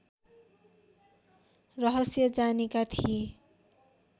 रहस्य जानेका थिए